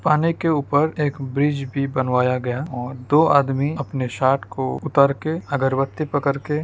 पानी के ऊपर एक ब्रिज भी बनवाया गया और दो आदमी अपने शर्ट को उतार के अगरबत्ती पकड़ के --